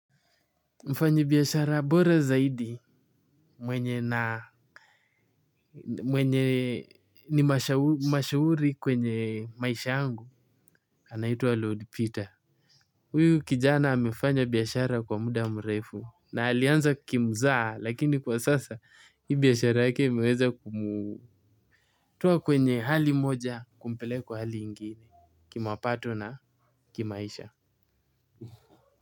Mfanyi biashara bora zaidi mwenye na mwenye ni mashawuri kwenye maisha angu anaitwa Lord Peter. Uyu kijana amefanya biashara kwa muda mrefu na alianza kimzaha lakini kwa sasa hii biashara yake imeweza kumutoa kwenye hali moja kumpeleka kwa hali ingine. Kimapato na kimaisha.